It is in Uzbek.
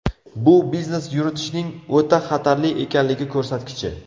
Bu biznes yuritishning o‘ta xatarli ekanligi ko‘rsatkichi.